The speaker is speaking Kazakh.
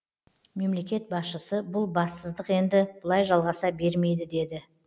мемлекет басшысы бұл бассыздық енді бұлай жалғаса бермейді деді